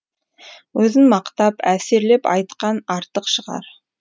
өзін мақтап әсерлеп айтқан артық шығар